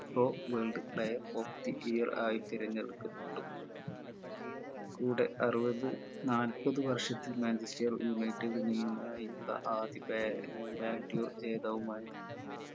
world player of the year ആയി തിരഞ്ഞെടുക്കപ്പെട്ടു കൂടെ അറുപത് നാല്പത് വർഷത്തിൽ manchester united ൽ നിന്നുമായുള്ള ആദ്യ ബേ ഏർ ballon d 'or ജേതാവുമായി